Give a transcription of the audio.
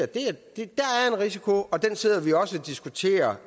del af risikoen og den sidder vi jo også og diskuterer